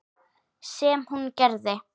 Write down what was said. Sem hún gerði.